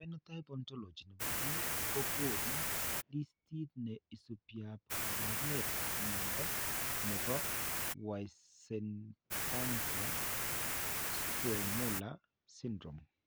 Phenotype Ontology ne po biik ko konu listiit ne isubiap kaabarunetap mnyando ne po Weissenbacher Zweymuller syndrome.